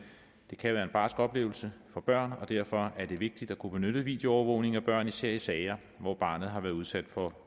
det kan jo være en barsk oplevelse for børn og derfor er det vigtigt at kunne benytte videoafhøring af børn især i sager hvor barnet måske har været udsat for